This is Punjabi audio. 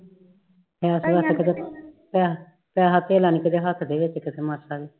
ਪੈਸੇ ਧੇਲਾ ਨੀ ਕਦੇ ਹੱਥ ਵਿਚ ਕਿਸੀ ਮਾਸਾ ਦੇ